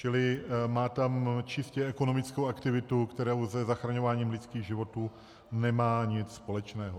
Čili má tam čistě ekonomickou aktivitu, která se zachraňováním lidských životů nemá nic společného.